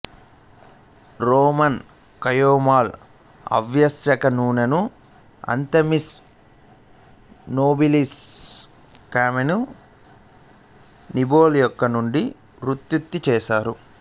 Roman chamomile ఆవశ్యక నూనెను Anthemis nobilis Chamaemelum nobile మొక్క నుండి ఉత్పత్తి చేస్తారు